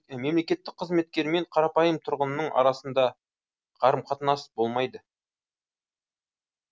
мемлекеттік қызметкермен қарапайым тұрғынның арасында қарым қатынас болмайды